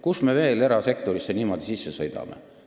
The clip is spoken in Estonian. Kus me veel erasektorisse niimoodi sisse sõidame?